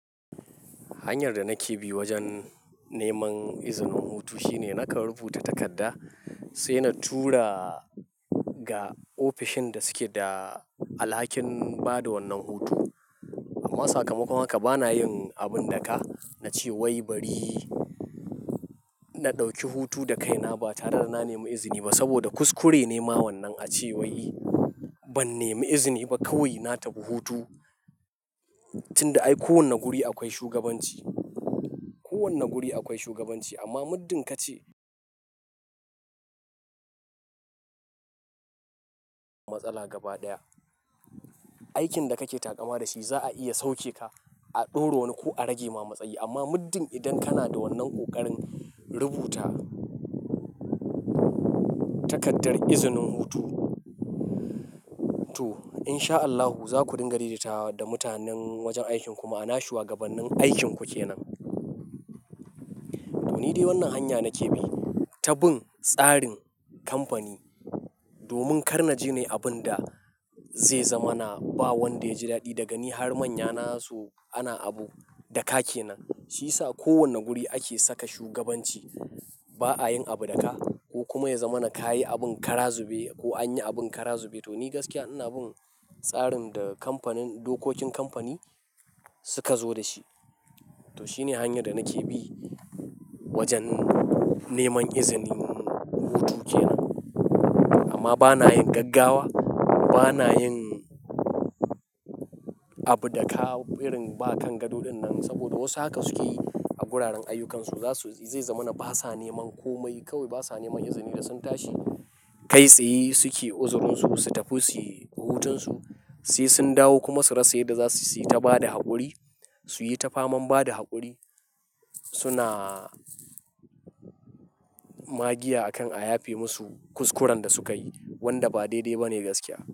Hanyar da nake bi wajen neman izinin hutu shine nakan rubuta takarda sai na tura ga ofishin da suke da alhakin ba da wannan hutu. Amma sakamakon haka bana yin abin daka, na ce wai bari na ɗauki hutu da kaina ba tare da na nemi izini ba saboda kuskure ne ma wannan a ce wai ban nemi izini ba kawai na tafi hutu. Tinda ai kowane guri akwai shugabanci, kowane guri akwai shugabanci amma muddin ka ce matsala gaba ɗaya. Aikin da kake taƙama da shi za'a iya sauke ka, a ɗoronu ko a rage ma matsayi. Amma muddin idan kana da wannan ƙoƙarin rubuta takardar izinin hutu, in sha Allahu za ku dinga daidaita da mutanen wajen aikin kuma ana yi shugabannin aikinku ke nan. To ni dai wannan hanya nake bi ta bin tsarin kamfani domin kar na jine abin da zai zama na ba wanda ya ji daɗi daga ni har manyana su ana abu da ka ke nan. Shi yasa kowane guri ake saka shugabanci. Ba'a yin abu da ka ko kuma ya zama na ka yi abin kara zube ko an yi abin kara zube. To ni gaskiya ina bin tsarin da kamfanin, dokokin kamfani suka zo da shi. To shine hanyar da nake bi wajen neman izinin hutu ke nan. Amma bana yin gaggawa, bana yin abu da ka birin ba kan gado dinnan saboda wasu haka suke yi a guraren ayyukansu. Zasu, zai zama na ba sa neman komai kawai ba sa neman izini da sun tashi. Kai tsaye suke uzurinsu su tafi suyi hutunsu. Sai sun dawo kuma su rasa yarda zasu sayi ta bada haƙuri, su yi ta faman bada haƙuri. Suna magiya akan a yafe musu kuskuren da sukayi wanda ba daidai bane gaskiya.